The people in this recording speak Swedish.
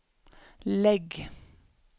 lägg